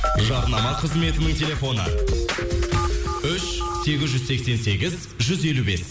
жарнама қызметінің телефоны үш сегіз жүз сексен сегіз жүз елу бес